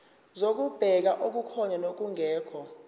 zokubheka okukhona nokungekho